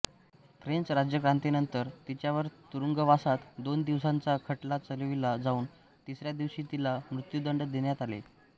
French राज्यक्रांतीनंतर तिच्यावर तुरुंगवासात दोन दिवसांचा खटला चालविला जाऊन तिसऱ्या दिवशी तिला मृत्यूदंड देण्यात आला